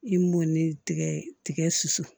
I m'o ni tigɛ tigɛ su su